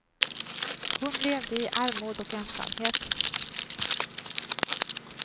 Hon levde i armod och ensamhet.